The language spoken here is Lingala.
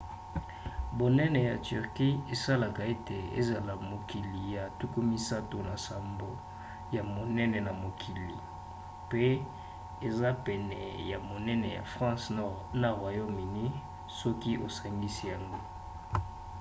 bonene ya turquie esalaka ete ezala mokili ya 37 ya monene na mokili; mpe eza pene ya monene ya france na royaume-uni soki osangisai yango